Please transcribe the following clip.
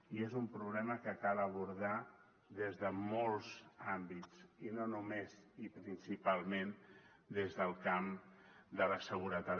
i és un problema que cal abordar des de molts àmbits i no només i principalment des del camp de la seguretat